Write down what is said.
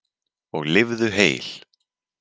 Og lifðu heil!